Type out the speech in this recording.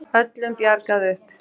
Öllum bjargað upp